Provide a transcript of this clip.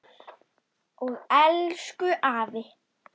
Og elsku afi.